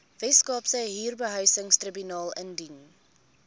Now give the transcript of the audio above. weskaapse huurbehuisingstribunaal indien